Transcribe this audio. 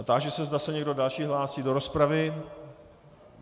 A táži se, zda se někdo další hlásí do rozpravy.